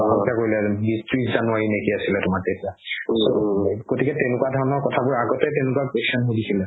হত্যা কৰিলে বিশ ত্ৰিশ january আছিলে তেতিয়া গতিকে তেকেকুৱা ধৰণৰ কথাবোৰ আগতে তেনেকুৱা question সুধিছিলে